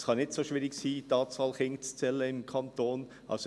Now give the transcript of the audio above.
Es kann nicht so schwierig sein, die Anzahl Kinder im Kanton Bern zu zählen.